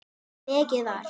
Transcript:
Mikið var!